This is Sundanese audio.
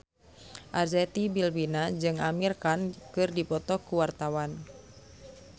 Arzetti Bilbina jeung Amir Khan keur dipoto ku wartawan